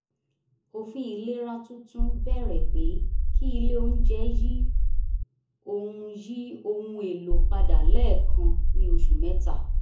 òfin ilera tuntun bẹ̀rẹ̀ pé kí ilé onjẹ yí ohun yí ohun èlò padà lẹ́ẹ̀kan ní oṣù mẹ́ta